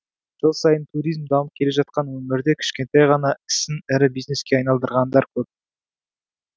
жыл сайын туризм дамып келе жатқан өңірде кішкентай ғана ісін ірі бизнеске айналдырғандар көп